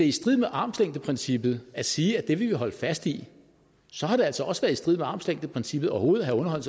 i strid med armslængdeprincippet at sige at det vil vi holde fast i så har det altså også været i strid med armslængdeprincippet overhovedet at have